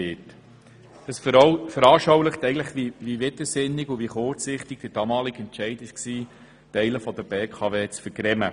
Sie veranschaulicht, wie widersinnig und kurzsichtig der damalige Entscheid war, Teile der BKW abzustossen.